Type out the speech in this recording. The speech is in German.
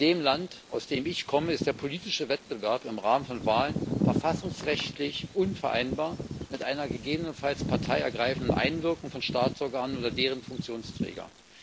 In dem Land, aus dem ich komme, ist der politische Wettbewerb im Rahmen von Wahlen verfassungsrechtlich unvereinbar mit einer gegebenenfalls parteiergreifenden Einwirkung von Staatsorganen oder deren Funktionsträgern?